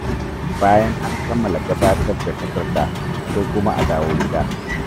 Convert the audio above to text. Bayan an kammala gabatar da takarda, sai kuma a dawo gida.